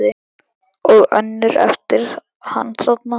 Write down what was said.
Og önnur eftir hann þarna